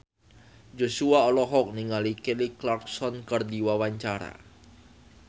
Joshua olohok ningali Kelly Clarkson keur diwawancara